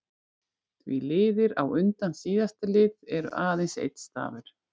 Því liðir á undan síðasta lið eru aðeins einn stafur.